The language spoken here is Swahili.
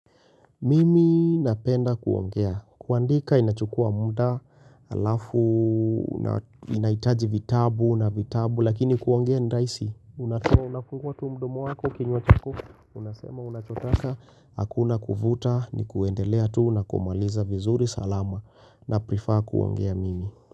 Mimi napenda kuongea, kuandika inachukua muda halafu, inahitaji vitabu na vitabu, lakini kuongea rahisi unafungua tu mdomo wako, kinywa chako, unasema unachotaka, hakuna kuvuta ni kuendelea tu na kumaliza vizuri salama. Naprefer kuongea mimi.